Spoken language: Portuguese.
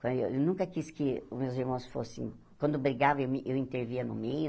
Eu nunca quis que os meus irmãos fossem... Quando brigavam, eu me eu intervia no meio.